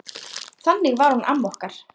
Þannig var hún amma okkur.